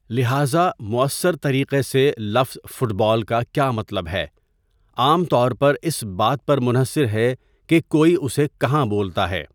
لہذا، مؤثر طریقے سے، لفظ 'فٹ بال' کا کیا مطلب ہے عام طور پر اس بات پر منحصر ہے کہ کوئی اسے کہاں بولتا ہے.